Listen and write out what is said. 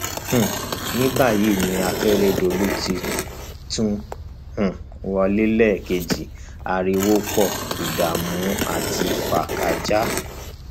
um ní báyìí tí akérédọlù ti tún um wọlé lẹẹkejì ariwo pọ ìdààmú àti fàákàjàá